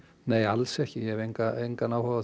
nei alls ekki ég hef engan engan áhuga á